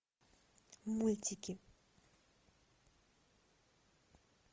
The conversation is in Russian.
мультики